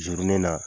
Zirin na